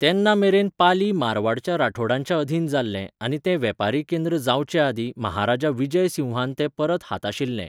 तेन्नामेरेन पाली मारवाडच्या राठोडांच्या अधीन जाल्लें आनी तें वेपारी केंद्र जावचेआदींच महाराजा विजय सिंहान तें परत हाताशिल्लें.